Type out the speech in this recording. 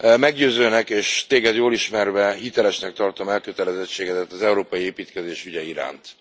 Meggyőzőnek, és Téged jól ismerve, hitelesnek tartom elkötelezettségedet az európai építkezés ügye iránt.